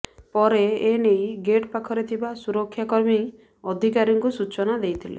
ପରେ ଏନେଇ ଗେଟ୍ ପାଖରେ ଥିବା ସୁରକ୍ଷାକର୍ମୀ ଅଧିକାରୀଙ୍କୁ ସୂଚନା ଦେଇଥିଲେ